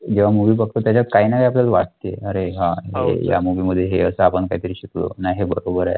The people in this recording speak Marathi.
जेव्हा movie बघतो त्याच्यात काही ना काही आपल्याला वाटते, अरे हा अरे या movie मध्ये हे असं आपण काही तरी शिकलो, नाही हे बरं आहे.